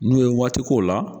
N'o ye waati k'o la